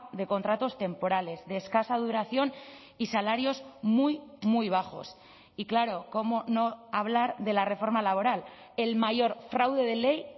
de contratos temporales de escasa duración y salarios muy muy bajos y claro cómo no hablar de la reforma laboral el mayor fraude de ley